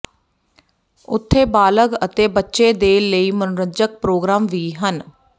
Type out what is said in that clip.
ਉੱਥੇ ਬਾਲਗ ਅਤੇ ਬੱਚੇ ਦੇ ਲਈ ਮਨੋਰੰਜਕ ਪ੍ਰੋਗਰਾਮ ਵੀ ਹਨ